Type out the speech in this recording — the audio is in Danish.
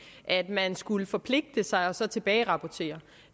at man skulle forpligte sig og så tilbagerapportere